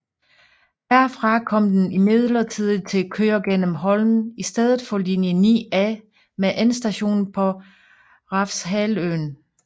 Herfra kom den imidlertid til køre gennem Holmen i stedet for linje 9A med endestation på Refshaleøen